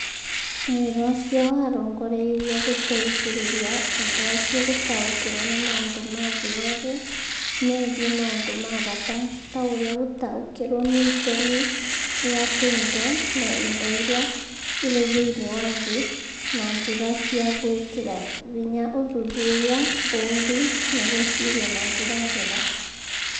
Wĩra ũcio warongoreirio gũteithĩrĩria andũ acio gũtaũkĩrũo nĩ maũndũ ma thĩ yothe megiĩ maũndũ ma bata ta ũrĩa gũtaũkĩrũo nĩ itemi rĩa tũindo na indo iria irĩ thĩinĩ wa thĩ na njĩra cia gwĩkĩra hinya ũthuthuria, ũũmbi, na gwĩciria na njĩra njega.